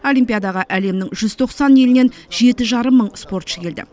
олимпиадаға әлемнің жүз тоқсан елінен жеті жарым мың спортшы келді